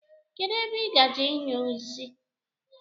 Kedụ ebe ị gaje inyụ nsị?